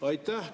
Aitäh!